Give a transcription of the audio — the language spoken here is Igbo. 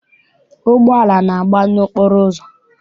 Ụgbọala na-agba n'okporo ụzọ.